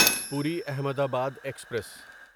پوری احمدآباد ایکسپریس